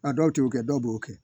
A dɔw t'o kɛ dɔw b'o kɛ